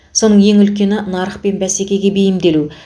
соның ең үлкені нарық пен бәсекеге бейімделу